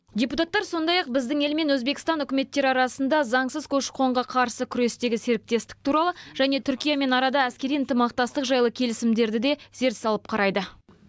депутаттар сондай ақ біздің ел мен өзбекстан үкіметтері арасында заңсыз көші қонға қарсы күрестегі серіктестік туралы және түркиямен арада әскери ынтымақтастық жайлы келісімдерді де зер салып қарайды